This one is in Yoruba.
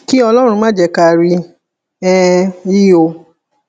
kí ọlọrun má jẹ ká rí um i o